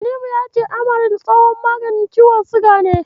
Tanimu ya ce Amaril tsohon maganin ciwon siga ne.